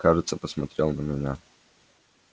кажется посмотрел на меня